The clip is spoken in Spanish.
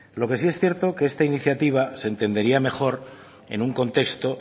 lo que sí es cierto que esta iniciativa se entendería mejor en un contexto